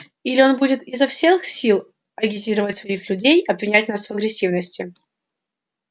или он будет изо всех сил агитировать своих людей обвинять нас в агрессивности